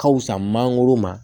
Ka fusa mangoro ma